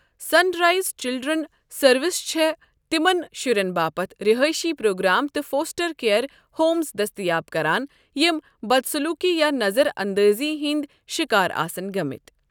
سن rise children سروسہٕ چھِے تِمَن شُرین باپت رہٲیشی پروگرام تہٕ فوسٹر کیئر ہومز دٔستیاب کران یِم بدسلوٗکی یا نَظَر اَندٲزی ہِنٛدۍ شِکار آسن گٔمٕتۍ۔